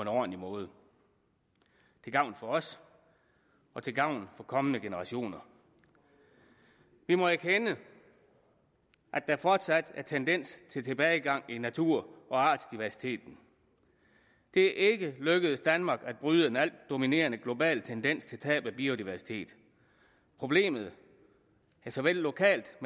ordentlig måde til gavn for os og til gavn for kommende generationer vi må erkende at der fortsat er tendens til tilbagegang i natur og artsdiversiteten det er ikke lykkedes danmark at bryde en altdominerende global tendens til tab af biodiversitet problemet er såvel lokalt